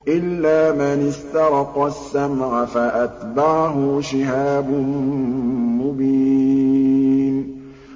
إِلَّا مَنِ اسْتَرَقَ السَّمْعَ فَأَتْبَعَهُ شِهَابٌ مُّبِينٌ